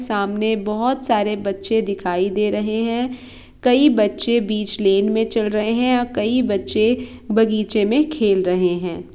सामने बोहोत सारे बच्चे दिखाई दे रहे है कई बच्चे बीच लेन मे चल रहे है और कई बच्चे बगीचे मे खेल रहे है। ।